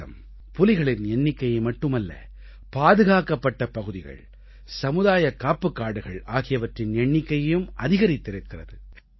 பாரதம் புலிகளின் எண்ணிக்கையை மட்டுமல்ல பாதுகாக்கப்பட்ட பகுதிகள் சமுதாய காப்புக்காடுகள் ஆகியவற்றின் எண்ணிக்கையையும் அதிகரித்திருக்கிறது